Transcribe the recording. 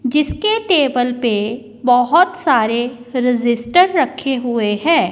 जिसके टेबल पे बहोत सारे रजिस्टर रखे हुए हैं।